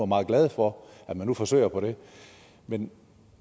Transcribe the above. meget glade for at man nu forsøger på det men